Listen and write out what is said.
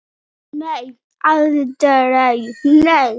Nei, aldrei, nei!